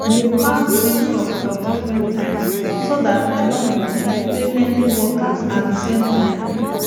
i dey plant de same crop for different times so dat i nor go um pay many workers at de same time